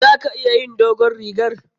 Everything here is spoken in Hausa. Za ka iya yin dogon rigar?